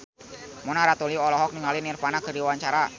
Mona Ratuliu olohok ningali Nirvana keur diwawancara